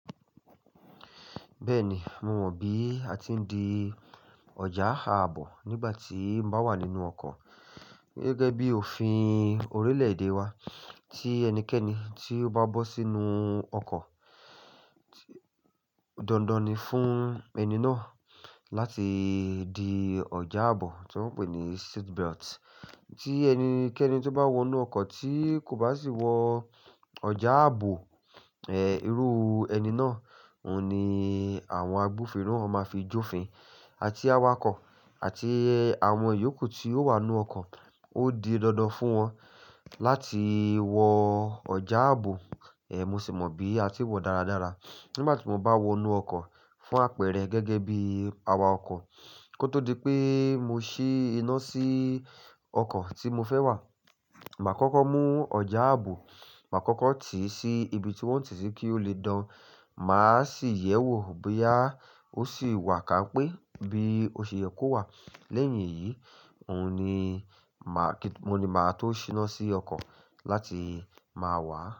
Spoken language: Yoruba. Bẹ́ẹ̀ni, mo mọ bí a ti ń di ọjà áàbò nígbà tí o bá wà nínú ọkọ̀. Gẹ́gẹ́ bí òfin orílẹ̀-èdè wa tí ẹnikẹ́ni tí ó bá bọ́ sínú ọkọ̀, dandan ni fún ẹni náà láti di ọjà áàbò tí wọ́n ń pè ní seat belt. Tí ẹnikẹ́ni tó bá wọ inú ọkọ̀ tí kò bá sì wọ ọjà áàbò, eh, irú ẹni náà, òhun ni àwọn agbófinró máa fi jófin. Àti awakọ̀ àti àwọn ìyókù tí ó wà nínú ọkọ̀, ó di dandan fún wọn láti wọ ọjà áàbò. Eh, mo sì mọ bí a ti ń wọ dáradára. Nígbà tí mo bá wọ inú ọkọ̀ fún àpẹ̀rẹ̀ gẹ́gẹ́ bí awakọ̀, kó tó di pé mo ṣí iná sí ọkọ̀ tí mo fẹ́ wà, màá kọ́kọ́ mú ọjà áàbò, màá kọ́kọ́ tì í sí ibi tí wọ́n ń tì í kí ó lè dán. Màá sì yẹ̀ wò bóyá ó sì wà ká pé bí ó ṣe yẹ kó wà. Lẹ́yìn èyí, òun ni màá-- mo ni màá tó ṣíná sí ọkọ̀ láti máa wà á.